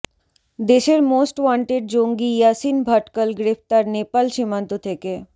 দেশের most wanted জঙ্গি ইয়াসিন ভাটকল গ্রেফতার নেপাল সীমান্ত থেকে